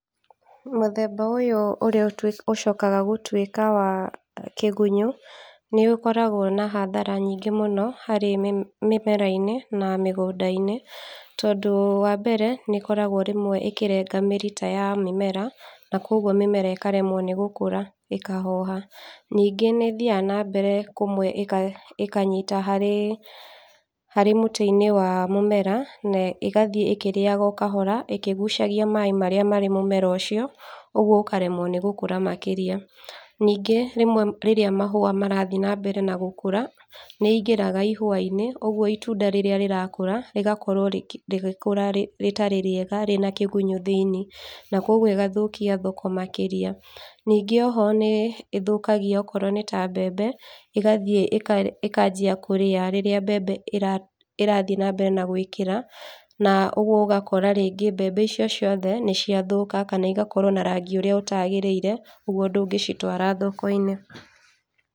Mũthemba ũyũ ũrĩa ũcokaga gũtwĩka wa kĩgunyũ, nĩũkoragwo na hathara nyingĩ mũno, harĩ mĩmera-inĩ na mĩgũnda-inĩ, tondũ wa mbere, nĩĩkoragwo rĩmwe ĩkĩrenga mĩri ta ya mĩmera, na koguo mĩmera ĩkaremwo nĩ gũkũra, ĩkahoha. Ningĩ nĩ ĩthiaga na mbere, kũmwe ĩkanyita harĩ mũtĩ-inĩ wa mũmera, ĩgathiĩ ĩkĩrĩaga o kahora, ĩkĩgucagia maaĩ marĩa marĩ mũmera ũcio, ũguo ũkaremwo nĩ gũkũra makĩria. Ningĩ, rĩmwe rĩrĩa mahũa marathiĩ na mbere na gũkũra, nĩingĩraga ihũa-inĩ, ũguo itunda rĩrĩa rĩrakũra, rĩgakorwo rĩgĩkũra rĩtarĩ rĩega rĩna kĩgunyũ thĩiniĩ, na koguo ĩgathũkia thoko makĩria, ningĩ oho nĩ ĩthũkagia okorwo nĩ ta mbembe, ĩgathiĩ ĩkanjia kũrĩa rĩrĩa mbembe ĩrathiĩ na mbere na gwĩkĩra na ũguo ũgakora rĩngĩ, mbembe icio ciothe nĩciathũka kana igakorwo na rangĩ ũrĩa ũtagĩrĩire, ũguo ndũngĩcitwara thoko-inĩ.